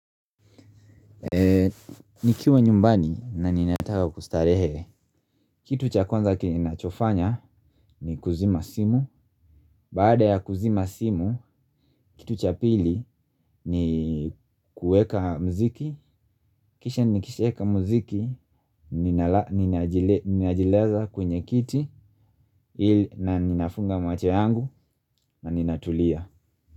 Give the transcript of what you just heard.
Eee, nikiwa nyumbani na ninataka kustarehe. Kitu cha kwaza kenye nachofanya ni kuzima simu. Baada ya kuzima simu, kitu cha pili ni kuweka mziki. Kisha nikishaeka muziki, ninajilaza kwenye kiti. Ili na ninafunga macho yangu na ninatulia.